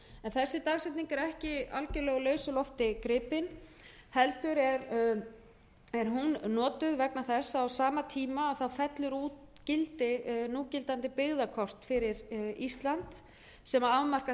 dagsetning er ekki algerlega úr lausu lofti gripið heldur er hún notuð vegna þess að á sama tíma fellur úr gildi núgildandi byggðakort fyrir ísland sem afmarkar